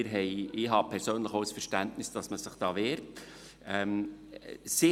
Ich habe persönlich auch Verständnis dafür, dass man sich da zur Wehr setzt.